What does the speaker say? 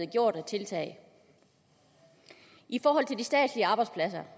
gjort af tiltag i forhold til de statslige arbejdspladser